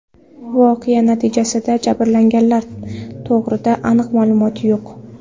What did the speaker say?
Voqea natijasida jabrlanganlar to‘g‘rida aniq ma’lumot yo‘q.